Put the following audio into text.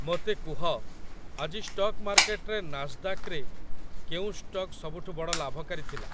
ମୋତେ କୁହ, ଆଜି ଷ୍ଟକ୍ ମାର୍କେଟରେ ନାସଦାକ୍‌ରେ କେଉଁ ଷ୍ଟକ୍ ସବୁଠୁ ବଡ଼ ଲାଭକାରୀ ଥିଲା ?